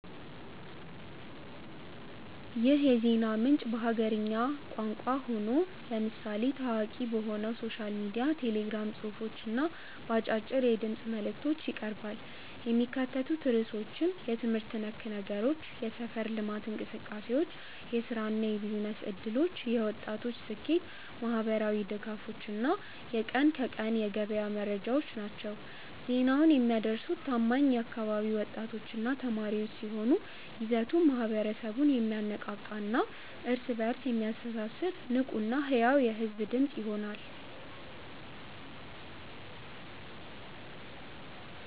ይህ የዜና ምንጭ በሀገርኛ ቋንቋ ሆኖ፣ ለምሳሌ ታዋቂ በሆነው ሶሻል ሚዲያ ቴሌግራም ጽሑፎች እና በአጫጭር የድምፅ መልዕክቶች ይቀርባል። የሚካተቱት ርዕሶችም የትምህርት ነክ ነገሮች፣ የሰፈር ልማት እንቅሰቃሴዎች፣ የሥራና የቢዝነስ ዕድሎች፣ የወጣቶች ስኬት፣ ማኅበራዊ ድጋፎች እና የቀን ከቀን የገበያ መረጃዎች ናቸው። ዜናውን የሚያደርሱት ታማኝ የአካባቢው ወጣቶችና ተማሪዎች ሲሆኑ፣ ይዘቱ ማኅበረሰቡን የሚያነቃቃና እርስ በእርስ የሚያስተሳስር ንቁና ሕያው የሕዝብ ድምፅ ይሆናል።